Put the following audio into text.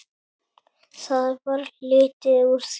Það varð lítið úr því.